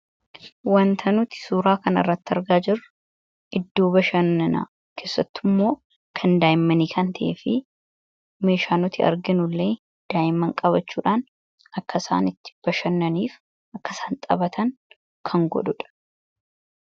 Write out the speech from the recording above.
Wanta nuti suuraa kan arratti argaa jirru idduu bashannanaa keessattu immoo kan daayimmanii kan ta'e fi meeshaa nuti arginuillee daa'imman qabachuudhaan akkasaan itti bashannaniif akkasaan xabatan kan godhuudha.